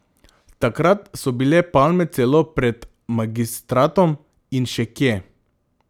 Takrat so bile palme celo pred magistratom in še kje.